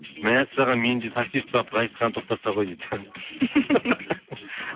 мәссаған мен де такси ұстап ғазизхан тоқтаса ғой дейді